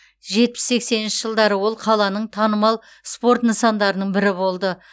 жетпіс сексенінші жылдары ол қаланың танымал спорт нысандарының бірі болды